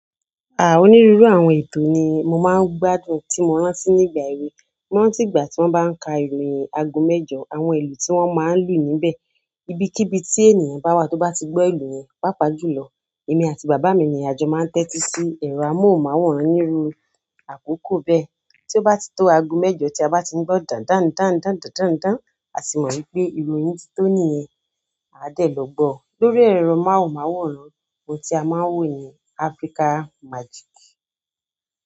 Onírúurú àwọn ètò ni mo máa ń gbádùn tí mo rántí nígbà èwe. Mo rántí ìgbà tí wọ́n bá ń ka ìròyìn aago mẹ́jọ, àwọn ìlù tí wọ́n máa ń lù níbẹ̀, ibikíbi tí ènìyàn bá wà tó bá ti gbọ́ ìlù yẹn, pàápàá jù lọ. Èmi àti bàbá mi ni àjọ máa ń tẹ́tí sí ẹ̀rọ amóhùnmáwòrán nírú àkókò bẹ́ẹ̀. Tí ó bá ti tó aago mẹ́jọ tí a bá ti ń gbọ́ dàndán, dáńdán, dàndán dán a ti mọ̀ wípé ìròyìn ti tó nìyẹn. Àá dẹ̀ lọ gbọ́ ọ. Lórí ẹ̀rọ amóhùnmáwòrán, ohun tí a máa ń wò ní Africa Magic.